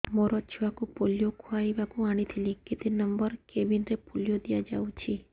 ମୋର ଛୁଆକୁ ପୋଲିଓ ଖୁଆଇବାକୁ ଆଣିଥିଲି କେତେ ନମ୍ବର କେବିନ ରେ ପୋଲିଓ ଦିଆଯାଉଛି